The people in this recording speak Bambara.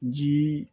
Jii